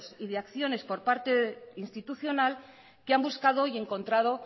y acciones por parte institucional que han buscado y encontrado